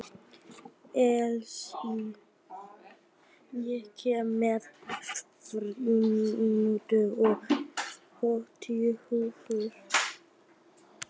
Elsí, ég kom með fimmtíu og níu húfur!